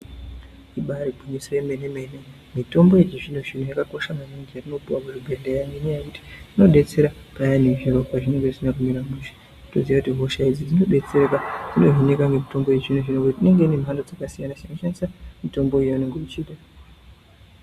Ibari gwinyiso remenemene mitombo yechizvinozvino yakakosha maningi yetinopiwa kuchibhehleya ngenyaya yekuti inodetsera payani zviro pazvinenge zvisina kumira mushe toziya kuti hosha idzi dzinobetsereka dzinohinika nemitombo yechizvinozvino nokuti inenge ine mhando dzakasiyanasiyana unoshandise mitombo yaunenge uchida.